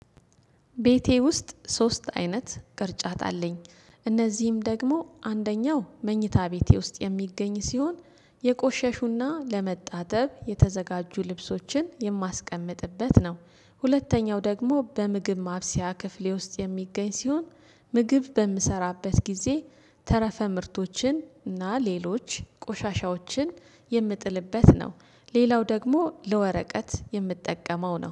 ቤቴ ውስጥ ሶስት አይነት ቅርጫት አለኝ እነዚህም ደግሞ አንደኛው መኝታ ቤቴ ውስጥ የሚገኝ ሲሆን የቆሸሹና ለመታጠብ የተዘጋጁ ልብሶችን የማስቀምጥበት ነው። ሁለተኛው ደግሞ በምግብ ማብሰያ ክፍሌ ውስጥ የሚገኝ ሲሆን ምግብ በምሰራበት ጊዜ ተረፈ ምርቶችን እና ሌሎች ቆሻሻዎችን የምጥልበት ነው። ሌላው ደግሞ ለወረቀት የምትጠቀመው ነው